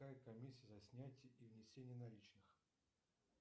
какая комиссия за снятие и внесение наличных